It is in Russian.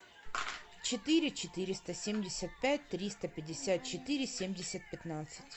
четыре четыреста семьдесят пять триста пятьдесят четыре семьдесят пятнадцать